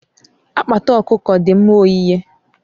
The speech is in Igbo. Apata ọkụkọ dị mma oyiye